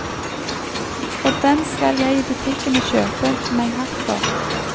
Og den skal jeg i butikken og kjøpe meg hatt for.